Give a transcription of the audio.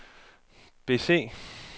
bese